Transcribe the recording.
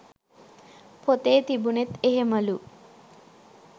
පොතේ තිබුනෙත් එහෙමලු.